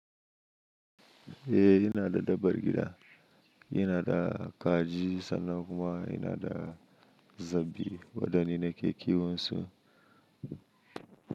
Eh, yana da dabbar gida. Yana da kaji sannan kuma yana da zabi waɗan ni nike kiwon su.